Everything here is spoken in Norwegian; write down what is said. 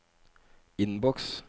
innboks